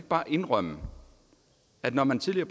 bare indrømme at når man tidligere